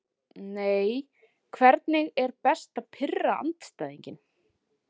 Nei Hvernig er best að pirra andstæðinginn?